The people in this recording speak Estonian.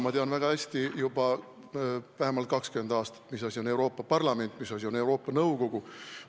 Ma tean väga hästi juba vähemalt 20 aastat, mis asi on Euroopa Parlament ja mis asi on Euroopa Nõukogu.